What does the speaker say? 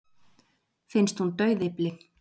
Finnst hún dauðyfli.